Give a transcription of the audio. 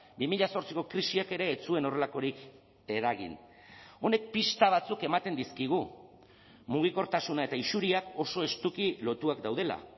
bi mila zortziko krisiak ere ez zuen horrelakorik eragin honek pista batzuk ematen dizkigu mugikortasuna eta isuriak oso estuki lotuak daudela